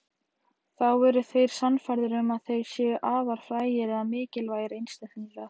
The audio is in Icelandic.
Þá eru þeir sannfærðir um að þeir séu afar frægir eða mikilvægir einstaklingar.